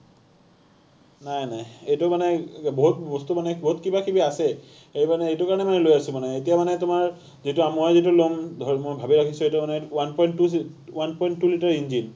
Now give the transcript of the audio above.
নাই নাই, এইটো মানে বহুত বস্তু মানে বহুত কিবাকিবি আছে, এই মানে এইটো কাৰণে মানে লৈ আছো মানে, এতিয়া মানে তোমাৰ যিটো মই যিটো ল’ম ধৰি, মই ভাবি ৰাখিছো, এইটো মানে one point two, one point two liter engine